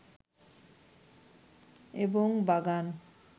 এবং বাগান